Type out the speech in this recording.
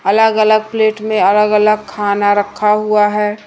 अलग अलग प्लेट में अलग अलग खाना रखा हुआ है।